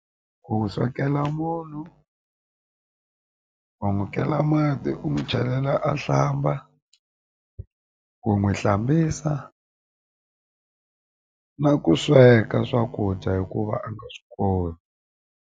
Ku swekela munhu u n'wi kela mati u n'wi chelela a hlamba ku n'wi hlambisa na ku sweka swakudya hikuva a nga swi koti.